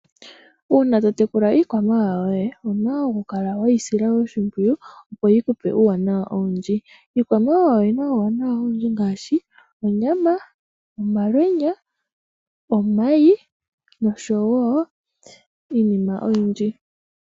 Uuna totekula iikwamawawa woye owuna okukala weyisila oshimpwiyu opo yikupe uuwanawa owundji. Iikwamawawa oyina omauwanawa ogendji ngaashi onyama, omalwenya, omayi nosho wo iinima oyindji.